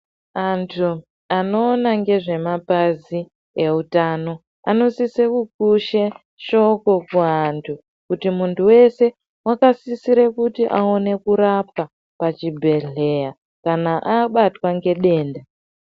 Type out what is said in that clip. Antu anoona ngezvemapazi eutano anosise kukushe shoko kuantu, kuti muntu weshe akasisire kuti aone kurapwa pachibhedhleya kana abatwa ngedenda.